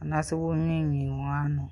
anaa sɔ wɔremimmim wɔn ano.